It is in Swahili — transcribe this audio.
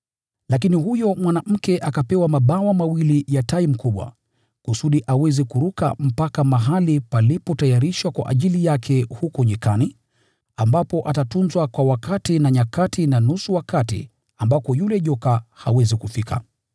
Lakini huyo mwanamke akapewa mabawa mawili ya tai mkubwa, kusudi aweze kuruka mpaka mahali palipotayarishwa kwa ajili yake huko jangwani, ambako atatunzwa kwa wakati na nyakati na nusu, ya wakati ambako yule joka hawezi kufika.